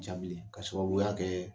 Ca bilen k'a sababuya kɛ